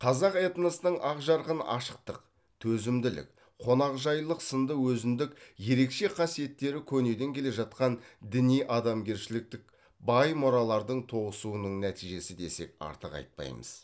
қазақ этносының ақ жарқын ашықтық төзімділік қонақжайлық сынды өзіндік ерекше қасиеттері көнеден келе жатқан діни адамгершіліктік бай мұралардың тоғысуының нәтижесі десек артық айтпаймыз